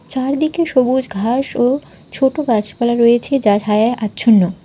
চারদিকে সবুজ ঘাস ও ছোট গাছপালা রয়েছে যা ছায়ায় আচ্ছন্ন।